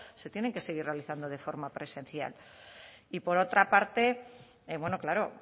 se tienen que seguir realizando de forma presencial y por otra parte bueno claro